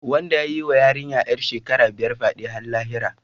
Wanda ya yi wa yarinya ‘yar shekara biyar fyade har lahira.